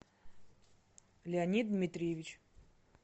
леонид дмитриевич